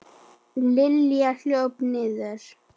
Lilla hljóp niður.